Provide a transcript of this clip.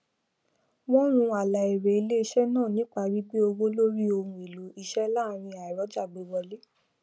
wọn rún àlà èrè iléisé náà nípa gbígbé owó lórí ohun èlò iṣẹ láàrín aìrọjàgbéwọlé